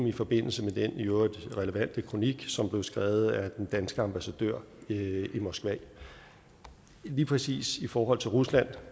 i forbindelse med den i øvrigt relevante kronik som blev skrevet af den danske ambassadør i moskva lige præcis i forhold til rusland